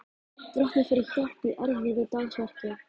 Drottni fyrir hjálp í erfiðu dagsverki.